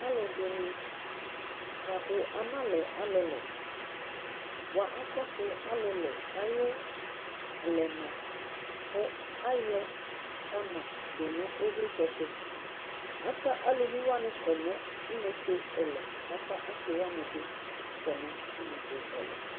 Alʊ ɛdɩnɩ bʊakʊ ana lɛ ɔlʊlʊ bʊa akɔsʊ alʊlʊ aƴʊ alɛna kʊ ayɔma ta ma dʊ nʊ ɩylɩtsɛtʊ Ata elʊvɩwanɩ tʊ inetse ɛlʊ akʊ asɩ wanɩ bɩ kɔ nʊ ɩnetse ɛlʊ